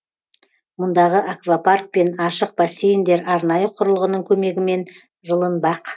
мұндағы аквапарк пен ашық бассейндер арнайы құрылғының көмегімен жылынбақ